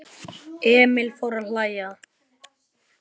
Emil fór að hlæja.